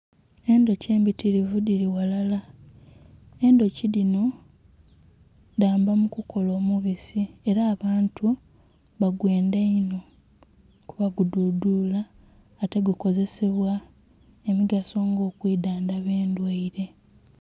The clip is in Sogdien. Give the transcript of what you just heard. Endhoki embitirivu dhili ghalala, endhoki dhinho dhamba mu kukola omubisi era abantu ba gwendha inho kuba gu dhudhula ate gukozesebwa emigaso nga okwidhandhaba endhwaire.